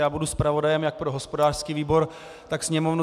Já budu zpravodajem jak pro hospodářský výbor, tak Sněmovnu.